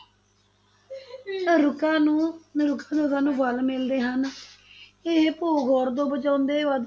ਰੁੱਖਾਂ ਨੂੰ ਰੁੱਖਾਂ ਤੋਂ ਸਾਨੂੰ ਫਲ ਮਿਲਦੇ ਹਨ ਇਹ ਭੂ-ਖੋਰ ਤੋਂ ਬਚਾਉਂਦੇ, ਵਾਤਾ~